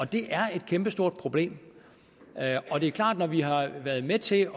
det er et kæmpestort problem og det er klart at når vi har været med til